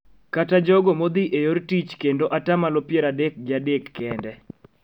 Kata jogo modhi e yor tich kendo atamalo pier adek gi adek kende